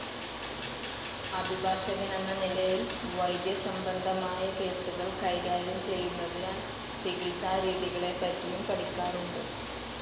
അഭിഭാഷകനെന്ന നിലയിൽ വൈദ്യസംബന്ധമായ കേസുകൾ കൈകാര്യം ചെയ്യുന്നതിനാൽ ചികിത്സാരീതികളെപറ്റിയും പഠിക്കാറുണ്ട്.